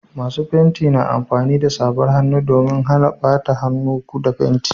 Masu fenti na amfani da safar hannu domin Hana bata hannu da fenti